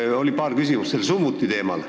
Siin oli paar küsimust summuti teemal.